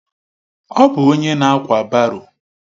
Ọ bụ onye na-ákwà baro.